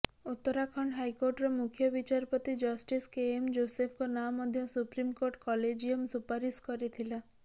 ଉତ୍ତରାଖଣ୍ଡ ହାଇକୋର୍ଟର ମୁଖ୍ୟ ବିଚାରପତି ଜଷ୍ଟିସ୍ କେଏମ୍ ଜୋସେଫଙ୍କ ନାଁ ମଧ୍ୟ ସୁପ୍ରିମକୋର୍ଟ କଲେଜିୟମ୍ ସୁପାରିଶ କରିଥିଲା